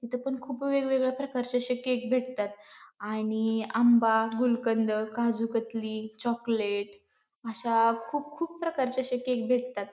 इथं पण खुप वेगवेगळ्या प्रकारचे अशे केक भेटतात आणि आंबा गुलकंद काजूकतली चॉकलेट अश्या खुप खुप प्रकारचे अशे केक भेटतात.